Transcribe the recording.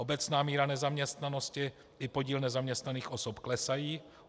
Obecná míra nezaměstnanosti i podíl nezaměstnaných osob klesají.